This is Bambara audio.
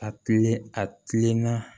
A kilen a kilenna